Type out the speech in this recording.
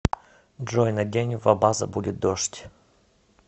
джой на день в абаза будет дождь